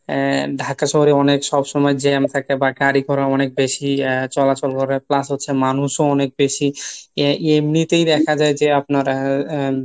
এ ঢাকা শহরে অনেক সবসময় jam থাকে বা গাড়িগুড়া অনেক বেশি আহ চলাচল করে plus হচ্ছে মানুষও অনেক বেশি, এমনিতেই দেখা যায় যে আপনার